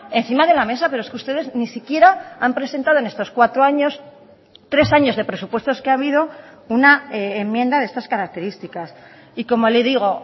encima de la mesa pero es que ustedes ni siquiera han presentado en estos cuatro años tres años de presupuestos que ha habido una enmienda de estas características y como le digo